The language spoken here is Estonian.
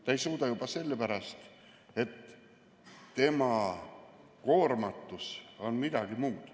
Ta ei suuda juba sellepärast, et tema koormatus on midagi muud.